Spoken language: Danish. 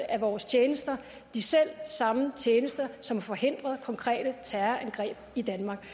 af vores tjenester de selv samme tjenester som forhindrer konkrete terrorangreb i danmark